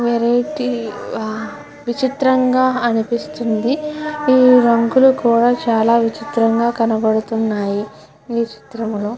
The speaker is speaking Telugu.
వెరైటీ విచిత్రం గ అనిపిస్తుంది ఈ రంగులు కూడా చాల విచిత్రంగా కనపడుతున్నాయి. ఈ చిత్రం లో --